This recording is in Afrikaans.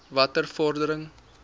watter vordering